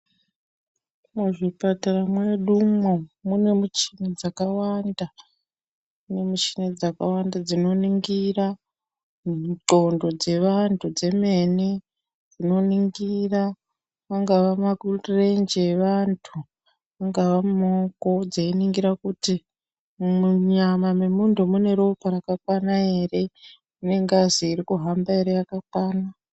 Muzvipatara mwedumwo mune michini dzakawanda michini dzakawanda, dzinoningira dhlondo dzeantu dzemene, dzinonigira angaa makurenje avantu, ungaa muoko, dzeiningira kuti munyama mwemunhu mune ropa rakakwana ere, munengazi irikuhamba ere yakakwana.